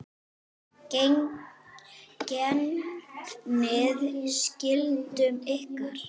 Gegnið skyldum ykkar!